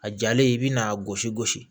A jalen i bɛ n'a gosi gosi